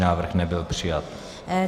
Návrh nebyl přijat.